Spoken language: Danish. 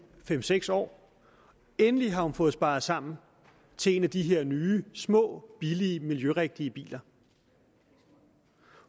fem seks år endelig har fået sparet sammen til en af de her nye små billige miljørigtige biler